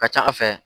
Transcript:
Ka ca ala fɛ